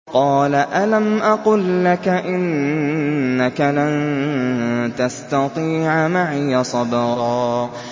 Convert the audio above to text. ۞ قَالَ أَلَمْ أَقُل لَّكَ إِنَّكَ لَن تَسْتَطِيعَ مَعِيَ صَبْرًا